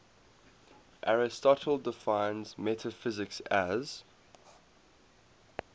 aristotle defines metaphysics as